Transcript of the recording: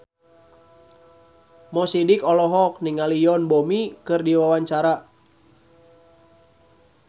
Mo Sidik olohok ningali Yoon Bomi keur diwawancara